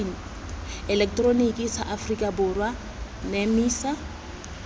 eleketeroniki sa aforika borwa nemisa